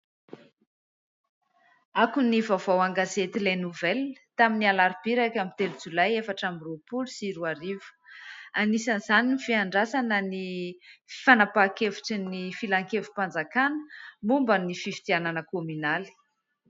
Akon'ny vaovao an-gazety les nouvelles tamin'ny alarobia iraika amby telo jolay efatra amby roapolo sy roa arivo. Anisan'izany ny fiandrasana ny fanapahan-kevitry ny filan-kevim-panjakana momba ny fifidianana kominaly.